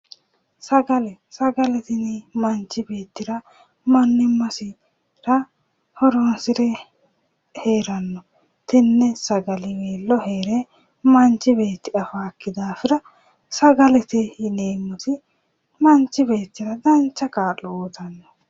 sagale manchi beettira mannimassira horoonsire heeranno tenne sagaliweello heere manchi beettira heere afaakkihura sagalete yineemmotti manchi beettira dancha kaa'lo uuyitanno